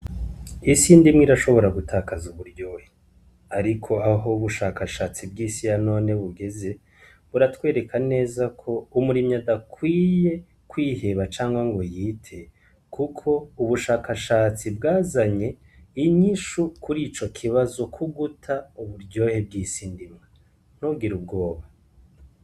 Isi ndimwe irashobora gutakaza uburyohe, ariko aho ubushakashatsi bw'isiya none bugeze buratwereka neza ko umurimyi adakwiye kwiheba canka ngo yite, kuko ubushakashatsi bwazanye inyishu kuri ico kibazo kuguta uburyohe bw'isina nobgira ubwoba.